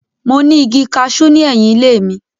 Mo ní igi kaṣú ní ẹ̀yìn ilé mi.